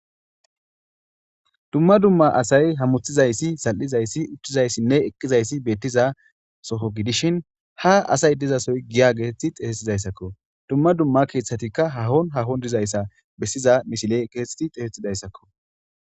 Duma duma asayi hamnetizaysi zalli'izaysi uttizayssi eqqizayissi betiza soho giddishin ha asayi diza sohoyi giya geteti xessetizaysakko duma duma keththatikka hahon haahon bettizayisi besiza missileyi kexxeti xesetizayssako.